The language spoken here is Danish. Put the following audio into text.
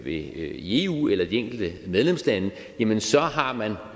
i eu eller i de enkelte medlemslande jamen så har man